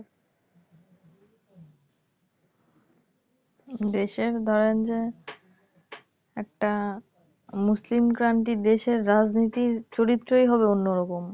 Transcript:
দেশের ধরেন যে একটা মুসলিমক্ৰান্তি দেশের রাজনীতির চরিত্রই হবে অন্যরকম